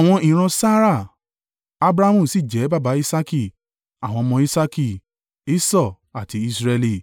Abrahamu sì jẹ́ baba Isaaki. Àwọn ọmọ Isaaki: Esau àti Israẹli.